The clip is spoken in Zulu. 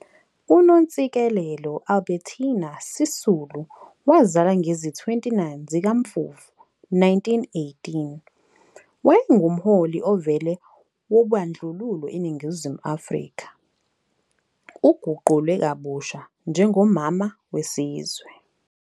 UNontsikelelo Albertina Sisulu wazalwa ngezi-29 zika Mfumfu 1918, wayengumholi ovele wobandlululo eNingizimu Afrika, uguqulwe kabusha njengo "Mama wesizwe".